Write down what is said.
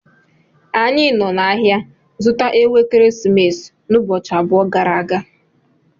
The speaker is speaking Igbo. Anyi so n'ahia zuta Ewu ekeresimesi n'ubochi about gara aga